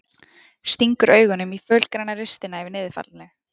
Stingur augunum í fölgræna ristina yfir niðurfallinu.